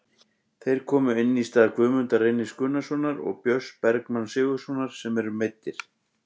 Þeir komu inn í stað Guðmundar Reynis Gunnarssonar og Björns Bergmanns Sigurðarsonar sem eru meiddir.